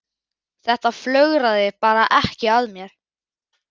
Þetta flögraði bara ekki að mér.